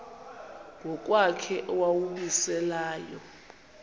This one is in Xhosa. ngokwakhe owawumise layo